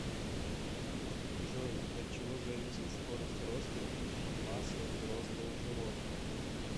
джой от чего зависит скорость роста и масса взрослого животного